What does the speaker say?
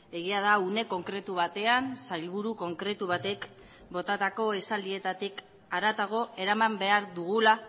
egia da une konkretu batean sailburu konkretu batek botatako esaldietatik haratago eraman behar dugula